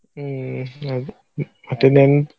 ಹ್ಮ್‌ ಅದೇ ಮತ್ತ್ ಇನ್ನೊಂದ್.